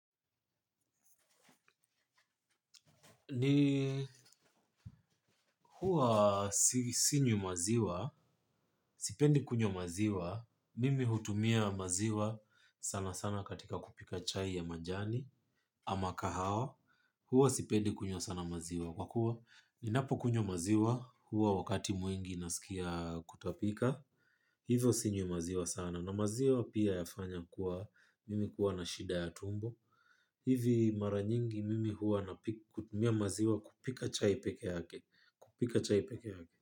Mimi huwa sinywi maziwa, sipendi kunywa maziwa. Mimi hutumia maziwa sana sana katika kupika chai ya majani ama kahawa, huwa sipendi kunywa sana maziwa, kwa kuwa, ninapo kunywa maziwa huwa wakati mwingi nasikia kutapika, hivyo sinywi maziwa sana na maziwa pia yafanya kuwa mimi kuwa na shida ya tumbo. Hivi mara nyingi mimi huwa na kutumia maziwa kupika chai peke yake. Kupika chai peke yake.